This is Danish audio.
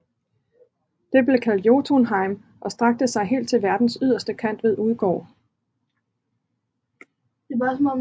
Det blev kaldt Jotunheim og strakte sig helt til verdens yderste kant ved Udgård